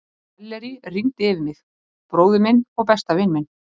Selleríi rigndi yfir mig, bróður minn og besta vin minn.